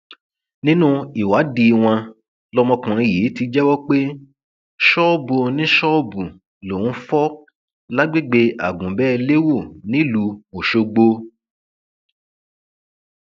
nínú ìwádìí wọn lọmọkùnrin yìí ti jẹwọ pé ṣọọbù oníṣọọbù lòún fò lágbègbè àgunbolẹwò nílùú ọṣọgbó